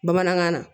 Bamanankan na